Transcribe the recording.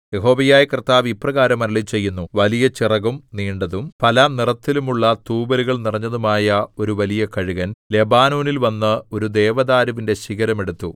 യഹോവയായ കർത്താവ് ഇപ്രകാരം അരുളിച്ചെയ്യുന്നു വലിയ ചിറകും നീണ്ടതും പലനിറത്തിലുമുള്ള തൂവലുകൾ നിറഞ്ഞതുമായ ഒരു വലിയ കഴുകൻ ലെബനോനിൽ വന്ന് ഒരു ദേവദാരുവിന്റെ ശിഖരം എടുത്തു